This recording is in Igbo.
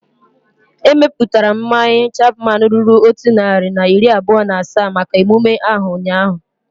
Emeputara m mmanya Chapman ruru otu narị na iri abụọ na asaa maka emume ahu ụnyaahụ